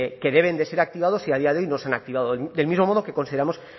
que deben de ser activados y a día de hoy no se han activado del mismo modo que consideramos